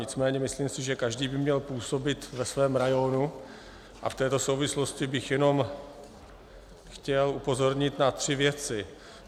Nicméně si myslím, že každý by měl působit ve svém rajonu, a v této souvislosti bych jenom chtěl upozornit na tři věci.